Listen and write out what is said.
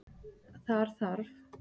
Þar þarf